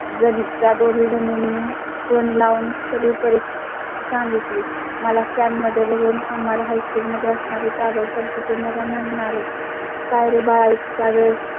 जळ त्या दोघींनी जणींनी नी Phone लावून सर्व परिस्थिती सांगितली. मला Stand मध्ये बघून आम्हाला high school असणार आहेत. आजवर तिथे मला म्हणाले, काय रे बाळा चा वेळ